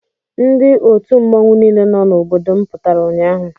Ndị otu mmọnwụ niile nọ n'obodo m pụtara ụnyaahụ.